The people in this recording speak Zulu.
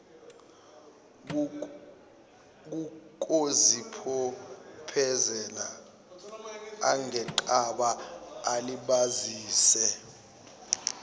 kokuzibophezela angenqaba alibazise